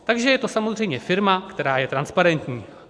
Takže je to samozřejmě firma, která je transparentní.